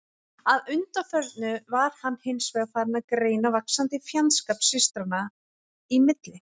Að undanförnu var hann hins vegar farinn að greina vaxandi fjandskap systranna í milli.